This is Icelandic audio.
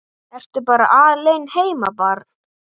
Ertu bara alein heima barn?